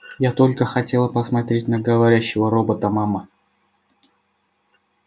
я только хотела посмотреть на говорящего робота мама